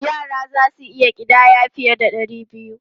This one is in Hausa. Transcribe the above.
Yara za su iya ƙidaya fiye da ɗari biyu.